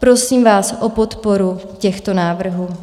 Prosím vás o podporu těchto návrhů.